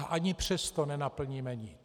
A ani přesto nenaplníme nic.